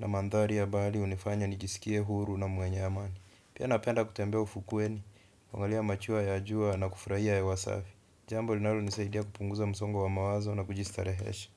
na mandhari ya bahari hunifanya nijiskie huru na mwenye amani. Pia napenda kutembea ufukweni, kuangalia machweo ya jua na kufurahia hewa safi. Jambo linalo nisaidia kupunguza msongo wa mawazo na kujistarehesha.